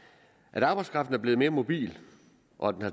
at arbejdskraften er blevet mere mobil og